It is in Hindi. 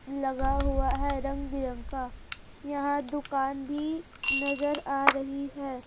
लगा हुआ है रंग बिरंग का यह दुकान भी नजर आ रही है।